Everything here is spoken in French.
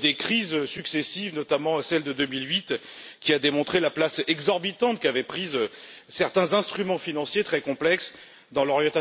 des crises successives, notamment celle de 2008, qui a démontré la place exorbitante qu'avaient prise certains instruments financiers très complexes dans l'orientation de nos économies.